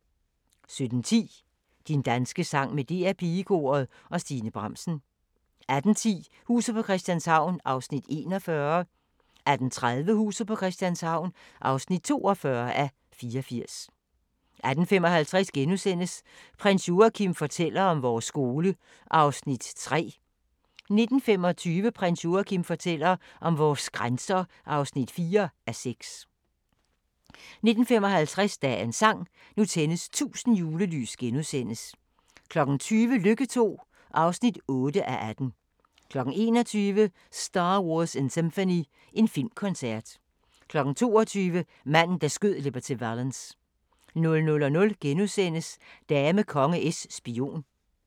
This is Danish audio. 17:10: Din danske sang med DR PigeKoret og Stine Bramsen 18:10: Huset på Christianshavn (41:84) 18:30: Huset på Christianshavn (42:84) 18:55: Prins Joachim fortæller om vores skole (3:6)* 19:25: Prins Joachim fortæller om vores grænser (4:6) 19:55: Dagens sang: Nu tændes 1000 julelys * 20:00: Lykke II (8:18) 21:00: Star Wars in Symphony – en filmkoncert 22:00: Manden, der skød Liberty Valance 00:00: Dame, konge, es, spion *